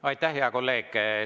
Aitäh, hea kolleeg!